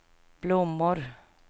blommor